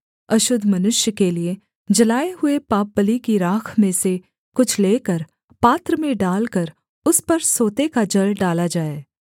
अशुद्ध मनुष्य के लिये जलाए हुए पापबलि की राख में से कुछ लेकर पात्र में डालकर उस पर सोते का जल डाला जाए